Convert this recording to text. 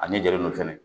A ɲɛ jɔlen do fɛnɛ